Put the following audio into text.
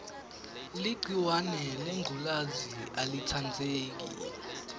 ligciwahe lengculezi alitsandzeki